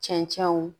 Cɛncɛnw